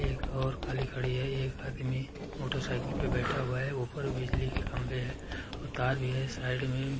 एक और खड़ी है। एक आदमी मोटरसाइकिल पर बैठा हुआ है। ऊपर बिजली के खंबे हैं और तार भी है साइड में